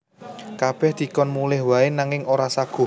Kabèh dikon mulih waé nanging ora saguh